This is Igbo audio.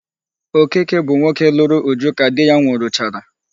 Okeke bụ nwoke lụrụ Uju ka di ya nwụrụchara.